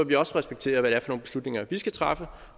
vi også respektere hvad det er nogle beslutninger vi skal træffe